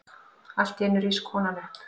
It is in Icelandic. Alltíeinu rís konan upp.